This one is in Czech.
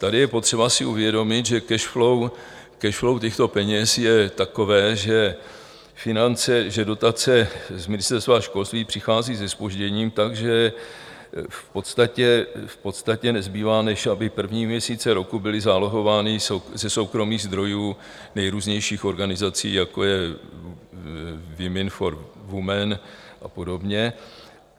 Tady je potřeba si uvědomit, že cash flow těchto peněz je takové, že dotace z Ministerstva školství přichází se zpožděním, takže v podstatě nezbývá, než aby první měsíce roku byly zálohovány ze soukromých zdrojů nejrůznějších organizací, jako je Women for women a podobně.